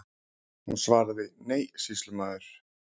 Hún svaraði: Nei, sýslumaður.